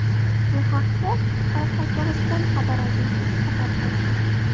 Bu haqda Qoraqalpog‘iston xabar agentligi xabar berdi .